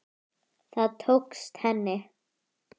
Það tókst henni.